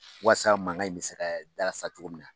Wasa mangan in bɛ se ka dalasa cogo min na.